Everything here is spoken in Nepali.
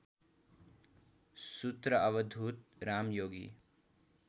सूत्र अवधूत रामयोगी